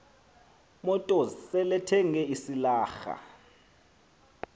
motors selethenge isilarha